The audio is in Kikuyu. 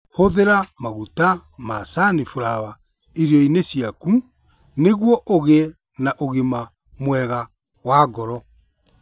Hũthĩra maguta ma caniflawa irio-inĩ ciaku nĩguo ũgĩe na ũgima mwega wa ngoro.